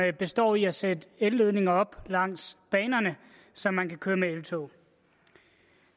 det består i at sætte elledninger op langs banerne så man kan køre med eltog